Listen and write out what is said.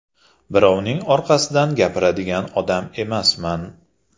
Birovning orqasidan gapiradigan odam emasman.